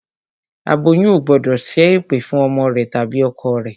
Aboyún ò gbọ́dọ̀ ṣẹ́ ẹ̀pẹ̀ fún ọmọ rẹ tàbí ọkọ rẹ